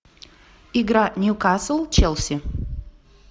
игра ньюкасл челси